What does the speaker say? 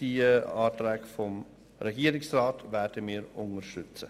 Die Anträge des Regierungsrats werden wir unterstützen.